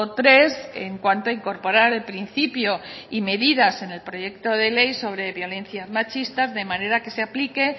tres en cuanto a incorporar el principio y medidas en el proyecto de ley sobre violencias machistas de manera que se aplique